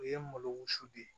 O ye malo wusu de ye